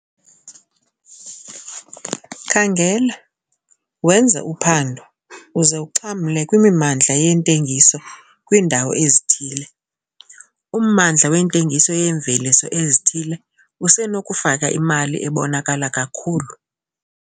Khangela, wenze uphando uze uxhamle kwimimandla yentengiso kwiindawo ezithile - ummandla wentengiso yeemveliso ezithile usenokufaka imali ebonakala kakhulu.